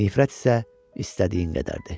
Nifrət isə istədiyin qədər idi.